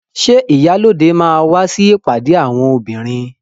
Ṣé ìyálóde máa wá sí ìpàdé àwọn obìnrin?